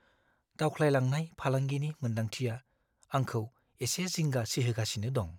दावख्लायलांनाय फालांगिनि मोनदांथिया आंखौ एसे जिंगा सिहोगासिनो दं।